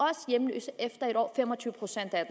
hjemløse efter et år fem og tyve procent af